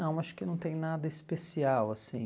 Não, acho que não tem nada especial, assim...